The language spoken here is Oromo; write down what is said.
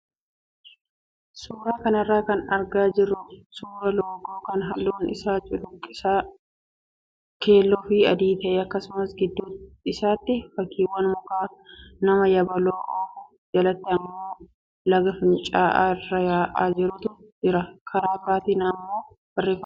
Suuraa kanarraa kan argaa jirru suuraa loogoo kan halluun isaa cuquliisa, keelloo fi adii ta'e akkasumas gidduu isaatti fakkiiwan mukaa, nama yabaloo oofu, jalatti immoo laga fincaa'aa iraa yaa'aa jirutu jira. Karaa biraatiin barreeffamoonni tokko tokko ni jiru.